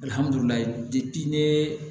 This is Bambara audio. Alihamdulilayi ne